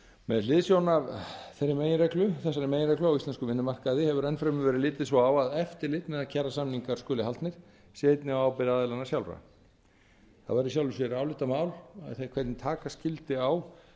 með hliðsjón af þess meginreglu á íslenskum vinnumarkaði hefur enn fremur verið litið svo á að eftirlit með að kjarasamningar skuli haldnir sé einnig á ábyrgð aðilanna sjálfra það væri í sjálfu sér álitamál hvernig taka skyldi á